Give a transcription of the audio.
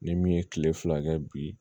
Ni min ye kile fila kɛ bi